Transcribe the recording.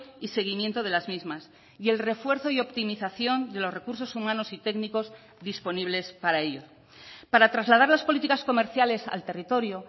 y seguimiento de las mismas y el refuerzo y optimización de los recursos humanos y técnicos disponibles para ello para trasladar las políticas comerciales al territorio